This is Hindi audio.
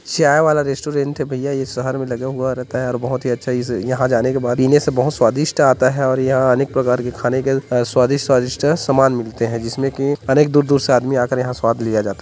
चाय वाला रेस्टोरेंट है भैया ये सहर में लगा हुआ रहता है और बहुत ही अच्छा इस यहाँ जाने के बाद पीने से बहुत स्वादिष्ट आता है और यहाँ अनेक प्रकार के खाने के स्वादिष्ट स्वादिष्ट सामान मिलते हैं जिसमें कि अनेक दूर दूर से आदमी आ के स्वाद लिया जाता है।